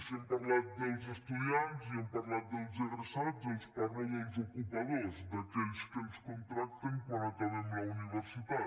si hem parlat dels estudiants i hem parlat dels egressats els parlo dels ocupadors d’aquells que ens contracten quan acabem la universitat